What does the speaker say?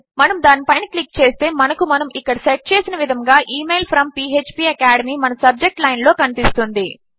మనము దాని పైన క్లిక్ చేస్తే మనకు మనము ఇక్కడ సెట్ చేసిన విధముగా ఇమెయిల్ ఫ్రోమ్ ఫ్పాకాడెమీ మన సబ్జెక్ట్ లైన్ లో కనిపిస్తుంది